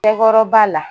Cɛkɔrɔba la